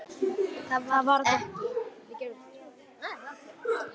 Það varð ekki.